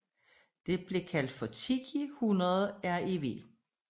Denne blev kaldt for Tiki 100 Rev